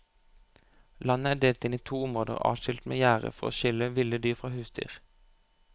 Landet er delt inn i to områder adskilt med gjerde for å skille ville dyr fra husdyr.